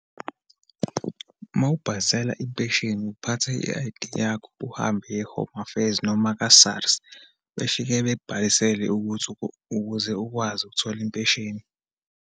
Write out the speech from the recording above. Uma ubhalisela impesheni, uphatha i-I_D yakho, uhambe uye e-Home Affairs, nama ka-SARS, befike bekubhalisele ukuthi ukuze ukwazi ukuthola impesheni.